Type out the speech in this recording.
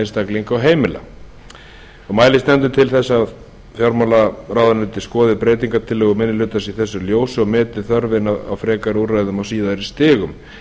einstaklinga og heimila mælist nefndin til þess að fjármálaráðuneytið skoði breytingartillögu minni hlutans í þessu ljósi og meti þörfina á frekari úrræðum á síðari stigum